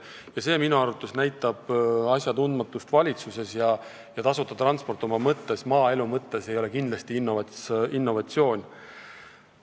See näitab minu arvates asjatundmatust valitsuses ja seda, et tasuta transport ei ole maaelu mõttes kindlasti innovatsioon.